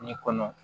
Nin kɔnɔ